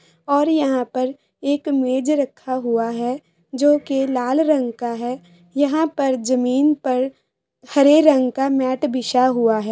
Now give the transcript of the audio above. और यहाँ पर एक मेज रखा हुआ है जो कि लाल रंग का है यहाँ पर जमीन पर हरे रंग का मेट बिछा हुआ है।